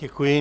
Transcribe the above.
Děkuji.